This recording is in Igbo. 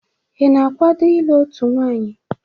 Ị na-akwado ịlụ otu nwanyị?